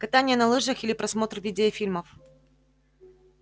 катание на лыжах или просмотр видеофильмов